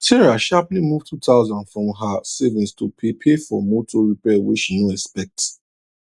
sarah sharply move 2000 from her savings to pay pay for motor repair way she no expect